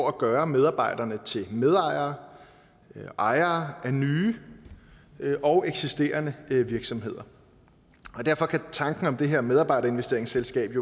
at gøre medarbejderne til medejere ejere af nye og eksisterende virksomheder derfor kan tanken om det her medarbejderinvesteringsselskab